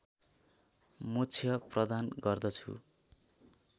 मोक्ष प्रदान गर्दछु